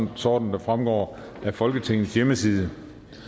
dagsorden der fremgår af folketingets hjemmeside